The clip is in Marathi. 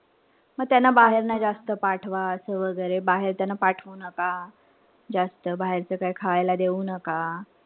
म त्यांना बाहेर नाई जास्त पाठवा असं वगैरे. बाहेर त्यांना पाठवू नका. जास्त बाहेरच काही खायला देऊ नका.